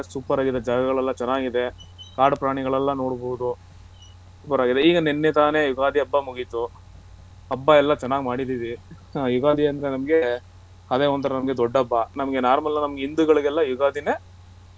Super ಅಗಿರೋ ಜಾಗಗಳೆಲ್ಲ ಚೆನ್ನಾಗಿದೆ ಕಾಡು ಪ್ರಾಣಿಗಳೆಲ್ಲ ನೋಡ್ಬೋದು ಈಗ ನೆನ್ನೆ ತಾನೆ ಯುಗಾದಿ ಹಬ್ಬ ಮುಗೀತು ಹಬ್ಬ ಎಲ್ಲ ಚೆನ್ನಾಗ್ ಮಾಡಿದೀವಿ ಹ ಯುಗಾದಿ ಅಂದ್ರೆ ನಮ್ಗೆ ಅದೇ ನಮ್ಗೆ ಒಂಥರಾ ಅದೇ ನಮ್ಗೆ ದೊಡ್ಡ ಹಬ್ಬ ನಮ್ಮ ಹಿಂಧುಗಳಿಗೆಲ್ಲ ಯುಗಾದಿನೇ